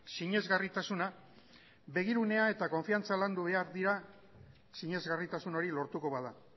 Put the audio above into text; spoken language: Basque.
sinesgarritasuna begirunea eta konfidantza landu behar dira sinesgarritasun hori lortuko bada